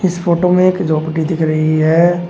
इस फोटो में एक झोपड़ी दिख रही है।